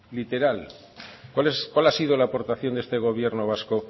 literal cuál ha sido la aportación de este gobierno vasco